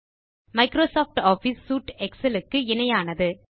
Microsoft Office suite Excel க்கு இணையானது